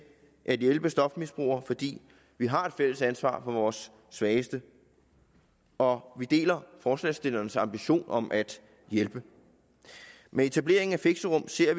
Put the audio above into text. at hjælpe stofmisbrugere fordi vi har et fælles ansvar for vores svageste og vi deler forslagsstillerens ambition om at hjælpe men etablering af fixerum ser